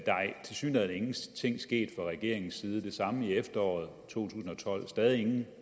tilsyneladende ingenting sket fra regeringens side det samme i efteråret 2012 stadig ingen